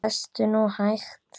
Lestu nú hægt!